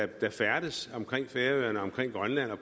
der færdes omkring færøerne og omkring grønland og